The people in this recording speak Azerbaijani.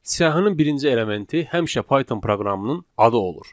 Siyahının birinci elementi həmişə Python proqramının adı olur.